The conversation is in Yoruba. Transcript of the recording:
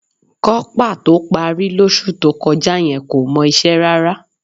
Kọ́pà tó parí lóṣù tó kọjá yẹn kò mọ iṣẹ́ rárá